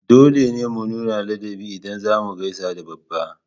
Dole ne mu nuna ladabi ida zamu gaisa da babba